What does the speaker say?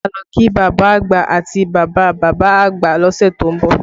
A máa lọ kí bàbá àgbà àti bàbá bàbá àgbà lọ́sẹ̀ tó ń bọ̀